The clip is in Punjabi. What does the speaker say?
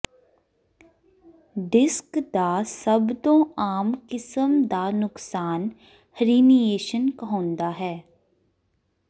ਡਿਸਕ ਦਾ ਸਭ ਤੋਂ ਆਮ ਕਿਸਮ ਦਾ ਨੁਕਸਾਨ ਹਰੀਨੀਏਸ਼ਨ ਕਹਾਉਂਦਾ ਹੈ